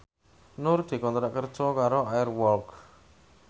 Nur dikontrak kerja karo Air Walk